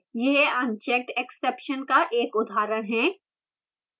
यह unchecked exception का एक उदाहरण है